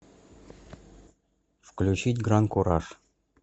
включить гран куражъ